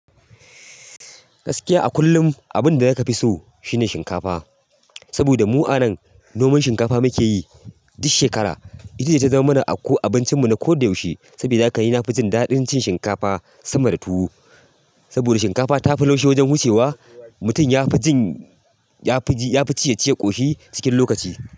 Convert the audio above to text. Gaskiya a kullum abin da ya ka fi so shine shinkafa. Saboda mu a nan, noman shinkafa muke yi duk shekara. Ita ce ta zama mana abincin mu na ko da yaushe. Sabida haka ni na fi jin daɗin cin shinkafa sama da tuwo. Saboda shinkafa ta fi laushi wajen wucewa. Mutum ya fi jin, yafi ji, yafi ci, ya ci ya ƙoshi cikin lokaci.